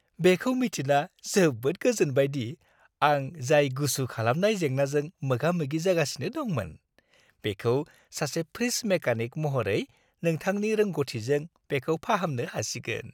बेखौ मिथिना जोबोद गोजोनबाय दि आं जाय गुसु खालामनाय जेंनाजों मोगा-मोगि जागासिनो दंमोन, बेखौ सासे फ्रिज मेकानिक महरै नोंथांनि रोंग'थिजों बेखौ फाहामनो हासिगोन।